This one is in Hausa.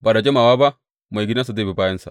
Ba da jimawa ba, maigidansa zai bi bayansa?